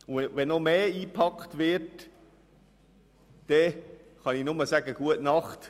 Wenn noch mehr reingepackt wird, kann ich nur sagen: gute Nacht.